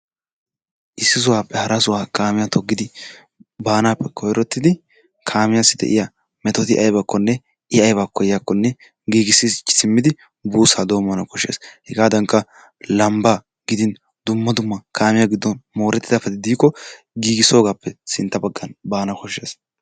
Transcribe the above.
Issisaappe harasaa kaamiyaan toggidi baanappe kasettidi kaamiyawu de'iyaa metoto aybakkonne i aybaa koyiyaakonne giigisichi siimmidi buussaa doommana kooshshees. Hegaadankka lambbaa gidin dumma dumma gidon moorettidabati diikko giigisoogappe sintta baggaan baana koshshees.